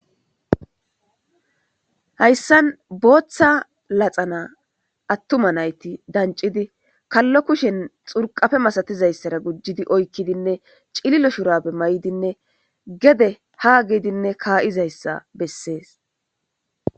hayssan booththa laxana attuma nayti dancidi kallo kushen xurqape masatizayssara gujidi oykkidinne cililo shurabe may'idinne gede ha gidinne kaayizayssa bessees